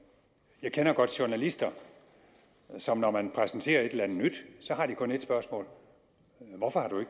jeg kender godt journalister som når man præsenterer et eller andet nyt så kun har et spørgsmål hvorfor har du